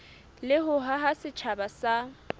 le ho haha setjhaba sa